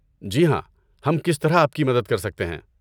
جی ہاں، ہم کس طرح آپ کی مدد کر سکتے ہیں؟